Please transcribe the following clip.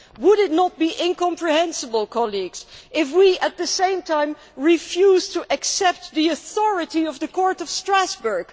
Would it not be incomprehensible if we, at the same time, refused to accept the authority of the Court of Strasbourg?